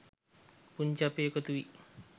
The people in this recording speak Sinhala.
පුංචි අප එකතුවී